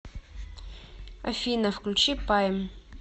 афина включи пайм